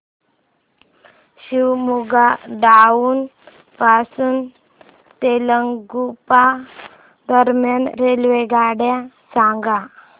Shivamogga town पासून तलगुप्पा दरम्यान रेल्वेगाड्या सांगा